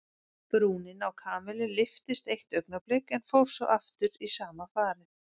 Brúnin á Kamillu lyftist eitt augnablik en fór svo aftur í sama farið.